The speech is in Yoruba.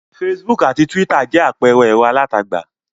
Facebook àti Twitter jẹ́ àpẹẹrẹ ẹ̀rọ alátagbà.